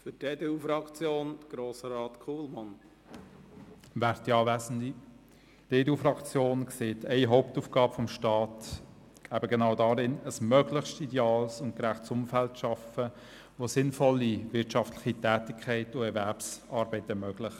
Die EDU-Fraktion sieht eine Hauptaufgabe des Staats eben genau darin, ein möglichst ideales und gerechtes Umfeld zu schaffen, das sinnvolle wirtschaftliche Tätigkeiten und Erwerbsarbeit ermöglicht.